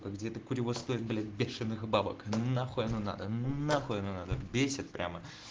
где-то курево стоит блять бешеных бабок нахуй оно надо нахуй оно надо бесит прямо